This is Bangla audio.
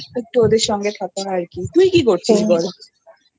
ওদের সাথে থাকবো আর কি তুই কি করছিস বল?